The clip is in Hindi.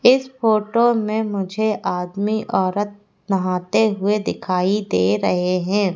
इस फोटो में मुझे आदमी औरत नहाते हुए दिखाई दे रहे हैं।